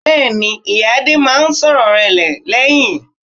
Bẹ́ẹ̀ni, ìyá Adé máa ń sọ̀rọ̀ rẹ lẹ́yìn.